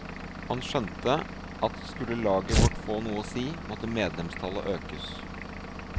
Han skjønte at skulle laget vårt få noe å si, måtte medlemstallet økes.